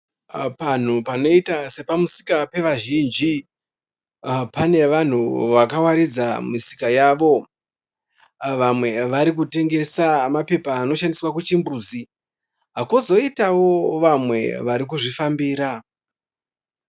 Panhu panoita sepamusika pevazhinji. Pane vanhu vakawaridza misika yavo. Vamwe varikutengesa mapepa anoshandiswa kuchimbuzi kozoitawo vamwe varikuzvifambira.